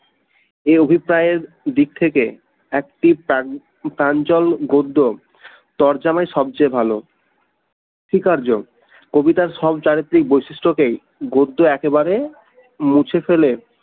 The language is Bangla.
এই অভিপ্রায়ের দিক থেকে একটি প্রাঞ্জল গদ্য তর জামাই সবচেয়ে ভাল স্বীকার্য কবিতার সব চারিত্রিক বৈশিষ্ট্যকেই গদ্য একেবারেই মুছে ফেলে